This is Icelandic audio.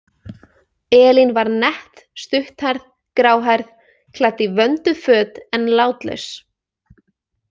Elín var nett, stutthærð, gráhærð, klædd í vönduð föt en látlaus.